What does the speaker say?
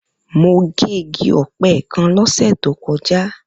Mo gé igi ọ̀pẹ kan ní ọ̀sẹ̀ tó kọjá.